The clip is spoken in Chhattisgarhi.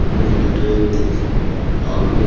अपील ल ट्रेनिंग दे हे आघू म--